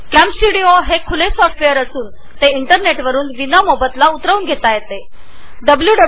CamStudio हे खुले software असून आपल्याला ते इंटरनेटद्वारे डब्ल्यु डब्ल्यु डब्ल्यु